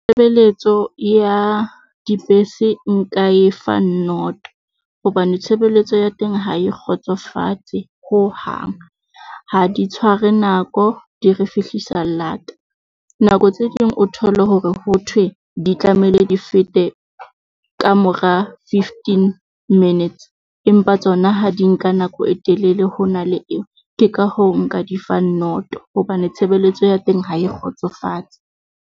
Tshebeletso ya dibese nka e fa noto, hobane tshebeletso ya teng ha e kgotsofatse hohang. Ha di tshware nako di re fihlisa lata, nako tse ding o thole hore ho thwe di tlamehile di fete ka mora fifteen minutes, empa tsona ha di nka nako e telele ho na le eo. Ke ka hoo nka difang noto hobane tshebeletso ya teng ha e kgotsofatse.